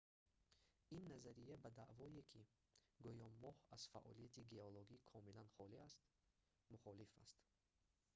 ин назария ба даъвое ки гӯё моҳ аз фаъолияти геологӣ комилан холӣ аст мухолиф аст